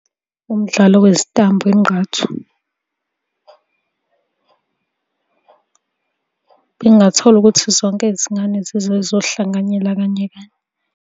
Umdlalo wezitambo ingqathu. Bengingathola ukuthi zonke izingane zize iy'zohlanganyela kanye kanye.